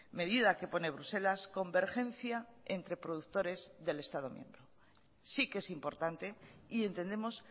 medida que pone bruselas convergencia entre productores del estado miembro sí que es importante y entendemos